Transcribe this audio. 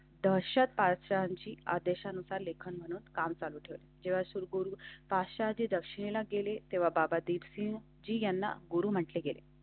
दर्शन park शाळांची आदेशानुसार लेखा काम चालू होते तेव्हा सुरू पाचशे आधी दक्षिणेला गेले तेव्हा बाबा डीप सिंह जी यांना गुरू म्हटले गेले.